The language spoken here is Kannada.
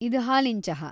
ಇದ್‌ ಹಾಲಿನ್ ಚಹಾ.